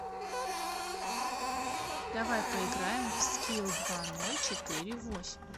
давай поиграем в скил два ноль четыре восемь